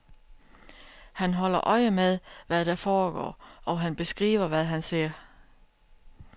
Han holder øje med, hvad der foregår, og han beskriver, hvad han ser.